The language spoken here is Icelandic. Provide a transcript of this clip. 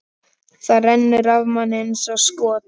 Það rennur af manni eins og skot.